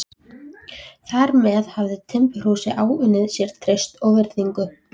Þar með hafði timburhúsið áunnið sér traust og virðingu.